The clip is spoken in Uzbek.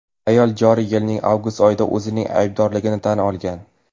Ayol joriy yilning avgust oyida o‘zining aybdorligini tan olgan.